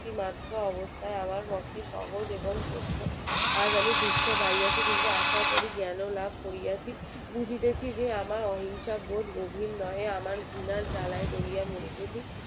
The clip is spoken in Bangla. মাত্র অবস্থায় আমার পক্ষে সহজ এবং সত্য আজ আমি দুঃখ পাইয়াছি কিন্তু জ্ঞান ও লাভ করিয়াছি বুঝেছি যে আমার অহিংসার জোর গভীর নই আমার কুলার জ্বালায় জ্বলিয়ে মরিতেছি